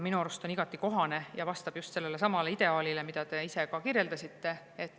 Minu arust on see igati kohane ja vastab just sellele ideaalile, mida te ise kirjeldasite.